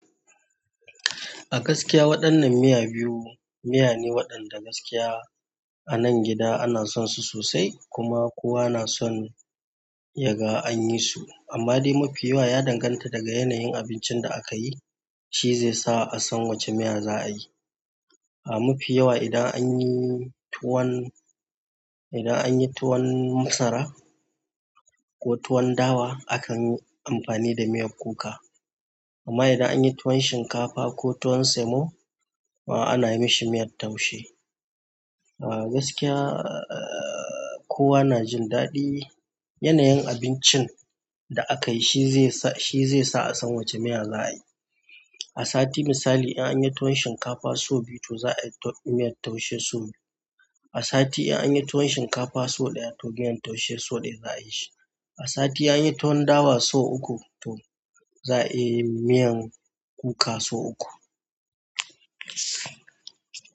A gaskiya waɗannan miya biyu, miya ne waɗanda gaskiya a nan gida ana son su sosai kuma kowa na son yaga an yi su. Amma dai mafi yawa ya danganta daga yanayin abincin da aka yi, shi zai sa a san wacce miya za a yi. A mafi yawa idan an yi tuwon, idan an yi tuwon masara ko tuwon dawa akan yi amfani da miyar kuka. Amma idan an yi tuwon shinkafa ko tuwon semo, ana yi mashi miyar taushe. A gaskiya, kowa na jin daɗi. Yanayin abincin da aka yi shi zai sa, shi zai sa a san wacce miya za a yi. A sati misali idan yi tuwon shinkafa sau biyu, to za ai miyn taushe sau buyu a sati idan an yi tuwon shinkafa sau ɗaya to miyan taushe sau ɗaya za a yi shi. A sati an yi tuwon dawa sau uku, to za a yi miyan kuka sau uku.